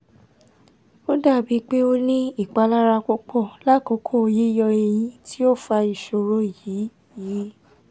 ó dàbí pé ó ní ìpalára púpọ̀ lákòókò yíyọ ẹyin tí ó fa ìṣòro yìí yìí